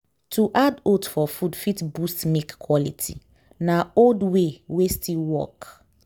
to add oats for food fit boost milk quality. na old way wey still work.